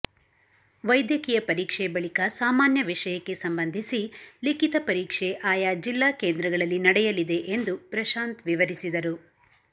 ವೈದ್ಯಕೀಯ ಪರೀಕ್ಷೆ ಬಳಿಕ ಸಾಮಾನ್ಯ ವಿಷಯಕ್ಕೆ ಸಂಬಂಧಿಸಿ ಲಿಖಿತ ಪರೀಕ್ಷೆ ಆಯಾ ಜಿಲ್ಲಾ ಕೇಂದ್ರಗಳಲ್ಲಿ ನಡೆಯಲಿದೆ ಎಂದು ಪ್ರಶಾಂತ್ ವಿವರಿಸಿದರು